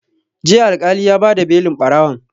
Jiya Alƙali ya ba da belin ɓarawon